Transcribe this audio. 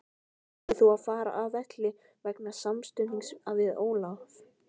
Þurftir þú að fara af velli vegna samstuðsins við Ólaf?